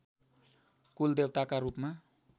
कुलदेवताका रूपमा